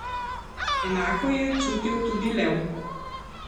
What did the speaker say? Enako je čutil tudi Lev.